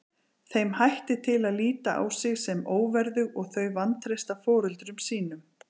Þeim hættir til að líta á sig sem óverðug og þau vantreysta foreldrum sínum.